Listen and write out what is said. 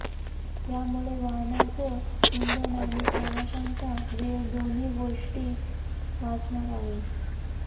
यामुळे वाहनाचं इंधन आणि प्रवाशांचा वेळ दोन्ही गोष्टी वाचणार आहे